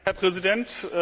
Herr Präsident!